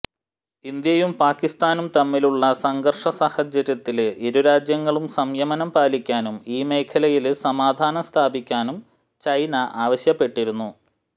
ഇന്ത്യയും പാകിസ്താനും തമ്മിലുള്ള സംഘര്ഷ സാഹചര്യത്തില് ഇരു രാജ്യങ്ങളം സംയമനം പാലിക്കാനും ഈ മേഖലയില് സമാധാനം സ്ഥാപിക്കാനും ചൈന ആവശ്യപ്പെട്ടിരുന്നു